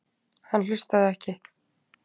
Hann hlustaði ekki.